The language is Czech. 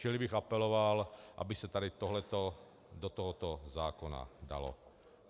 Čili bych apeloval, aby se tady tohleto do tohoto zákona dalo.